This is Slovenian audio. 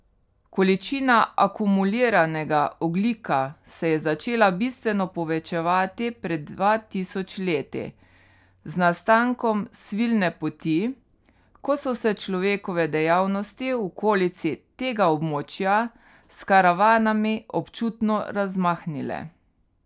Količina akumuliranega ogljika se je začela bistveno povečevati pred dva tisoč leti, z nastankom Svilne poti, ko so se človekove dejavnosti v okolici tega območja s karavanami občutno razmahnile.